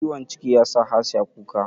Ciwon ciki yasa Hasiya kuka